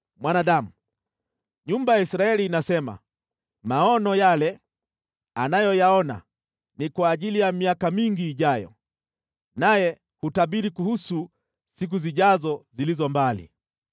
“Mwanadamu, nyumba ya Israeli inasema, ‘Maono yale anayoyaona ni kwa ajili ya miaka mingi ijayo, naye hutabiri kuhusu siku zijazo zilizo mbali.’